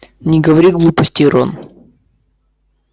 не говори глупостей рон